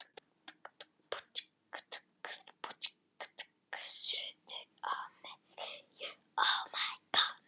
Einnig eru þær algengar á skógarsvæðum Mið-Ameríku, Mexíkó og um alla Suður-Ameríku.